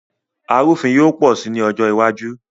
Arúfin yóò pọ̀ sí ní ọjọ́ iwájú